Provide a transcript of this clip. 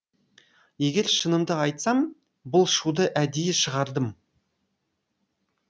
егер шынымды айтсам бұл шуды әдейі шығардым